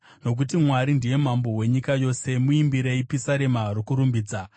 Nokuti Mwari ndiye Mambo wenyika yose; muimbirei pisarema rokurumbidza.